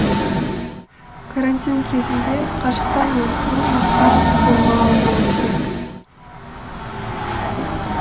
карантин кезінде қашықтықтан оқыту мықтап қолға алынуы керек